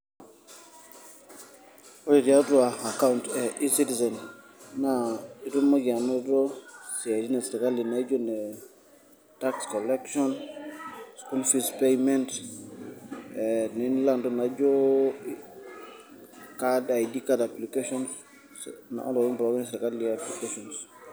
Ore tiatua account e e-citizen ,naa itumoki anoto isiaitin esirkali naijo ne tax collection, school fees payment ,nila intokiting naijo ID card application ,ontokitin pookin esirkali applications.